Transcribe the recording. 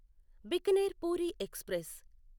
Bikaner Puri express